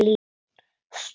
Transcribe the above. Stoð og stytta.